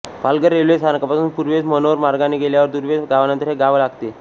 Palghar railway स्थानकापासून पूर्वेस मनोर मार्गाने गेल्यावर दुर्वेस गावानंतर हे गाव लागते